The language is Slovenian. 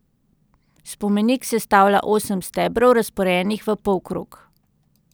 Spomenik sestavlja osem stebrov, razporejenih v polkrog.